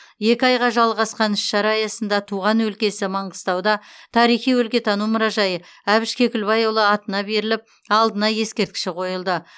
екі айға жалғасқан іс шара аясында туған өлкесі маңғыстауда тарихи өлкетану мұражайы әбіш кекілбайұлы атына беріліп алдына ескерткіші қойылды